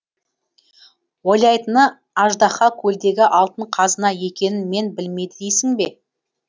ойлайтыны аждаһа көлдегі алтын қазына екенін мен білмейді дейсің бе